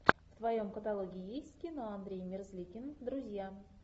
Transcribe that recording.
в твоем каталоге есть кино андрей мерзликин друзья